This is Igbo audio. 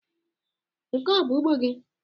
Nke a ọ bụ ugbo gị?